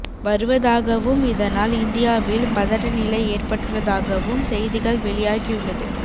வருவதாகவும் இதனால் இந்தியாவில் பதட்ட நிலை ஏற்பட்டுள்ளதாகவும் செய்திகள் வெளியாகி உள்ளது